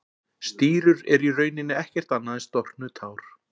Stírur eru í rauninni ekkert annað en storknuð tár.